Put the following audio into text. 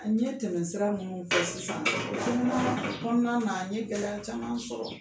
n ye tɛmɛsira ninnu fɔ sisan o kɔnɔna o kɔnɔna na n ye gɛlɛya caman sɔrɔ.